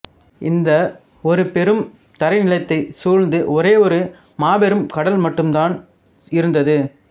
இந்த ஒருபெரும் தரைநிலத்தைச் சூழ்ந்து ஒரேயொரு மாபெரும் கடல் மட்டும்தான் இருந்தது